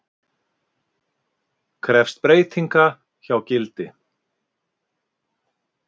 Krefst breytinga hjá Gildi